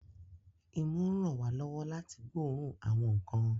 Imú ń ràn wá lọ́wọ́ láti gbóòórùn àwọn nǹkan